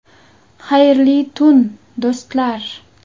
Xayrli tun, do‘stlar.